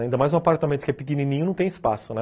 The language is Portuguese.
Ainda mais num apartamento que é pequenininho, não tem espaço, né?